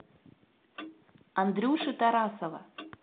андрюши тарасова